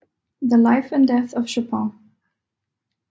The Life and Death of Chopin